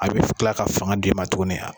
A bɛ kila ka fanga d' i ma tugunni a.